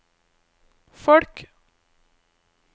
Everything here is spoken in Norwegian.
folk